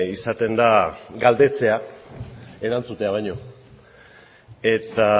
izaten da galdetzea erantzutea baino eta